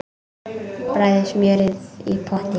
Bræðið smjörið í potti.